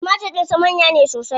Timatir din sa manya ne sosai.